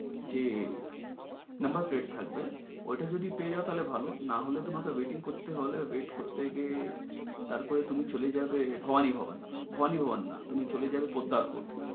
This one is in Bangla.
যে number paid থাকবে ওইটা যদি পেয়ে যাও তালে ভালো না হলে তোমাকে waiting করতে হলে wait করতে গিয়ে তার পর তুমি চলে যাবে ভবানি ভবানি ভবানি ভবানি না তুমি চলে যাবে পদ্দাব কোট